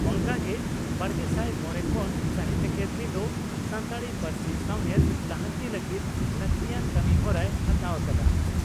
ᱚᱱᱠᱟᱜᱮ ᱵᱟᱨᱜᱮᱥᱟᱭ ᱢᱚᱲᱮ ᱠᱷᱚᱱ ᱥᱟᱦᱤᱛᱭᱚ ᱟᱠᱟᱫᱮᱢᱤ ᱫᱚ ᱥᱟᱱᱛᱟᱲᱤ ᱯᱟᱹᱨᱥᱤ ᱥᱟᱣᱦᱮᱫ ᱞᱟᱦᱟᱱᱛᱤ ᱞᱟᱹᱜᱤᱫ ᱞᱟᱹᱠᱛᱤᱭᱟᱱ ᱠᱟᱹᱢᱤᱦᱚᱨᱟᱭ ᱦᱟᱛᱟᱣ ᱟᱠᱟᱫᱼᱟ ᱾